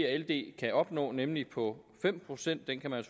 og ld kan opnå nemlig på fem procent den kan man